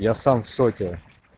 я сам в шоке